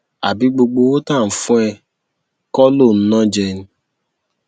àbí gbogbo owó tá à ń fún ẹ kọ ló ń ná jẹ ni